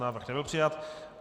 Návrh nebyl přijat.